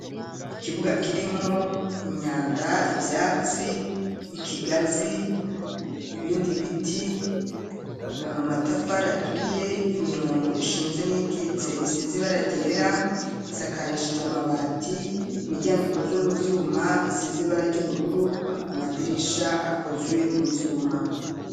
Ikibuga, kirimwo imyanda, ivyatsi, ikigazi, ibindi biti, amatafari aturiye, imirongo ishinze, n'iyikitse, isize ibara ryera; isakarishijwe amabati, imiryango ikozwe mu vyuma, isize ibara ry'ubururu; amadirisha akozwe mu vyuma.